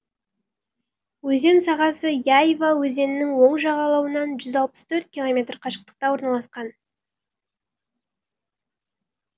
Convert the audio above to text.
өзен сағасы яйва өзенінің оң жағалауынан жүз алпыс төрт километр қашықтықта орналасқан